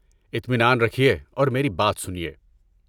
اطمینان رکھیے اور میری بات سنیے۔